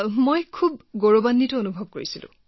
ইমানেই গৌৰৱ অনুভৱ কৰি আছিলো যে গনি শেষ কৰি নোৱাৰি